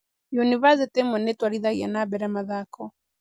yunibacĩtĩ imwe nĩ twarithagia na mbere mathako.